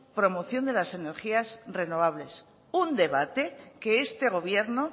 promoción de las energías renovables un debate que este gobierno